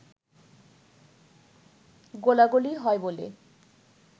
গোলাগুলি হয় বলে